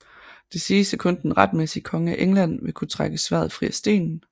Det siges at kun den retmæssige konge af England vil kunne trække sværdet fri af stenen